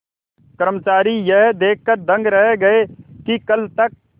कर्मचारी यह देखकर दंग रह गए कि कल तक